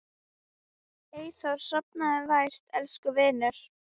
Eyþór, sofðu vært elsku vinur.